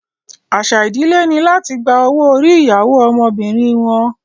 Àṣà ìdílé ni láti gba owó orí ìyàwó ọmọbìnrin wọn